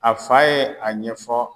A fa ye a ɲɛfɔ